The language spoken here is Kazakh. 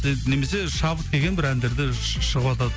шабыт деген бір әндерді шығыватады